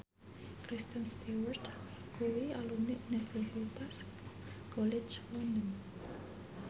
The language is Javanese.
Kristen Stewart kuwi alumni Universitas College London